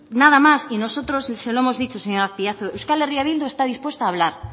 nada más y nosotros se lo hemos dicho señor azpiazu euskal herria bildu está dispuesta a hablar